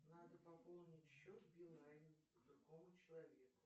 надо пополнить счет билайн другому человеку